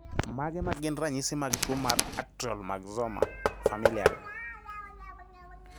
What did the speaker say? Mage magin ranyisi mag tuo mar Atrial myxoma, familial?